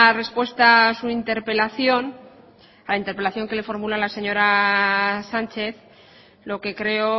respuesta a su interpelación a la interpelación que le formula la señora sánchez lo que creo